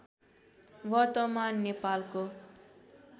वर्तमान नेपालको